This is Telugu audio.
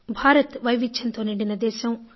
భారత్ వైవిధ్యంతో నిండిన దేశం